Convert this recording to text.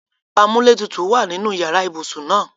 Amuletutu wa ninu iyara ibsun naa